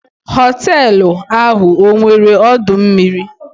Họtelu ahụ ọ nwere ọdọ mmiri?